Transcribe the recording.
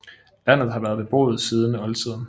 Landet har været beboet siden oldtiden